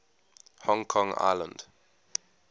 hong kong island